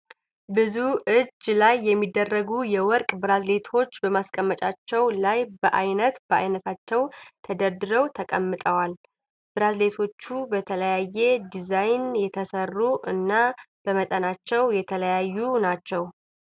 ብዙ እጅ ላይ የሚደረጉ የወርቅ ብራዝሌቶች በማስቀመጫቸው ላይ በአይነት በአይነታቸው ተደርድረው ተቀምጠዋል። ብራዝሌቶቹ በተለያየ ዲዛይን የተሰሩ እና በመጠናቸው የተለያዪ ናቸው።